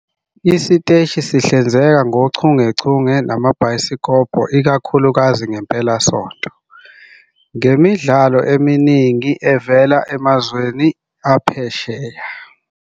Isiteshi sihlinzeka ngochungechunge namabhayisikobho ikakhulukazi ngezimpelasonto, ngemidlalo eminingi evela emazweni aphesheya.